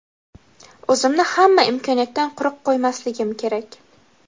o‘zimni hamma imkoniyatdan quruq qo‘ymasligim kerak.